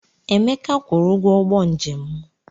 Emeka kwụrụ ụgwọ ụgbọ njem m.